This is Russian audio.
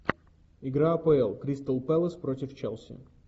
игра апл кристал пэлас против челси